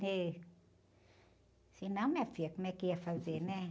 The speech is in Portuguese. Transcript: Se não, minha filha, como é que ia fazer, né?